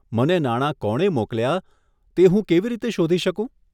મને નાણા કોણે મોકલ્યાં તે હું કેવી રીતે શોધી શકું?